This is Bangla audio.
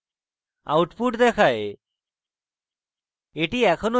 output দেখায়